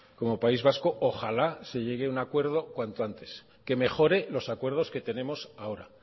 como país vasco ojalá se llegue un acuerdo cuanto antes que mejore los acuerdos que tenemos ahora